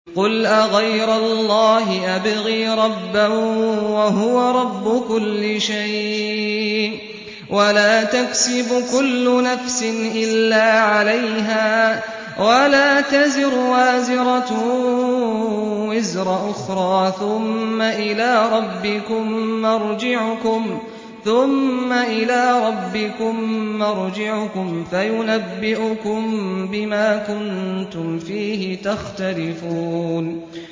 قُلْ أَغَيْرَ اللَّهِ أَبْغِي رَبًّا وَهُوَ رَبُّ كُلِّ شَيْءٍ ۚ وَلَا تَكْسِبُ كُلُّ نَفْسٍ إِلَّا عَلَيْهَا ۚ وَلَا تَزِرُ وَازِرَةٌ وِزْرَ أُخْرَىٰ ۚ ثُمَّ إِلَىٰ رَبِّكُم مَّرْجِعُكُمْ فَيُنَبِّئُكُم بِمَا كُنتُمْ فِيهِ تَخْتَلِفُونَ